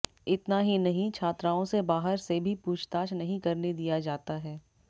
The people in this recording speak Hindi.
इतना ही नही छात्राओं से बाहर से भी पूछताछ नहीं करने दिया जाता है